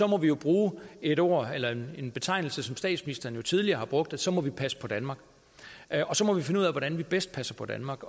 må vi jo bruge et ord eller en betegnelse som statsministeren tidligere har brugt at så må vi passe på danmark og så må vi finde ud af hvordan vi bedst passer på danmark